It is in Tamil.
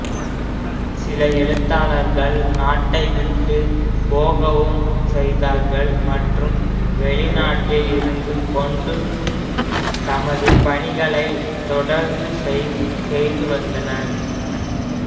சில எழுத்தாளர்கள் நாட்டைவிட்டு போகவும் செய்தார்கள் மற்றும் வெளிநாட்டில் இருந்துகொண்டு தமது பணிகளை தொடர்ந்து செய்துவந்தனர்